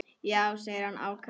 Já, segir hann ákafur.